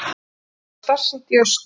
Honum var starsýnt í austur.